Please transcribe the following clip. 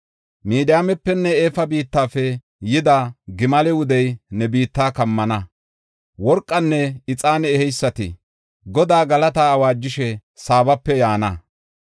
Midiyaamepenne Efa biittafe yida, gimale wudey ne biitta kammana. Worqanne ixaane eheysati Godaa galataa awaajishe Saabape yaana.